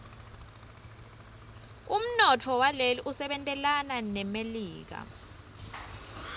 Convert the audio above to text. umnotfo waleli usebentelana nemelika